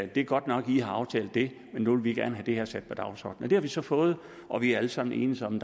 det er godt nok at i har aftalt det men nu vil vi gerne det her sat på dagsordenen det har vi så fået og vi er alle sammen enedes om